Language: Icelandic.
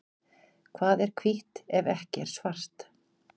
Hvað er hvítt ef ekki er svart?